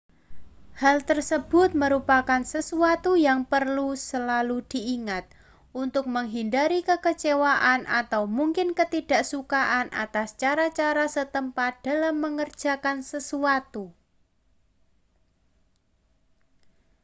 hal tersebut merupakan sesuatu yang perlu selalu diingat untuk menghindari kekecewaan atau mungkin ketidaksukaan atas cara-cara setempat dalam mengerjakan sesuatu